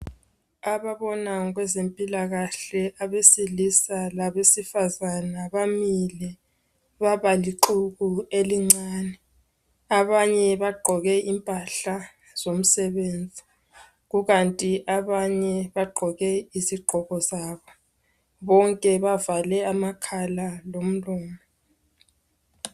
Ababona ngezempilakahle abesilisa labesifazana bamile babalixuku elincane, abanye bagqoke impahla zomsebenzi. Kukanti abanye bagqoke izigqoko zabo. Bonke bavale amakhala lomlomo.